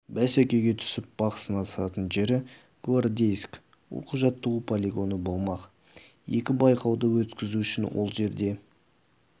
бәсекеге түсіп бақ сынасатын жері гвардейск оқу-жаттығу полигоны болмақ екі байқауды өткізу үшін ол жерде